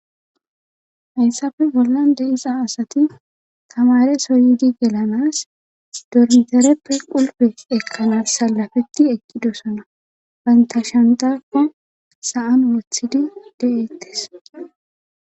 hayssafe bollan deiza asati tamare soydi gelanas dormizareppe qulbe ekkanas salafeti eqqidosana banta shandakka saan wothidi de7eettes